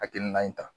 Hakilina in ta